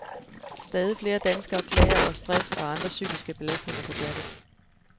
Stadig flere danskere klager over stress og andre psykiske belastninger på jobbet.